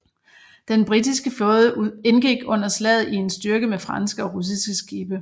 Den britiske flåde indgik under slaget i en styrke med franske og russiske skibe